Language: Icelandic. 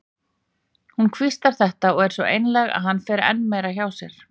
Hún hvíslar þetta og er svo einlæg að hann fer enn meira hjá sér.